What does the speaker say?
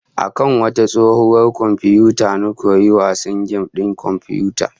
A kan wata tsohuwar komfiyuta na koyi yin wasan gem din komfiyuta